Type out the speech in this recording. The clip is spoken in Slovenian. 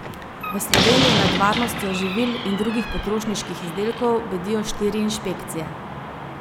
V Sloveniji nad varnostjo živil in drugih potrošniških izdelkov bedijo štiri inšpekcije.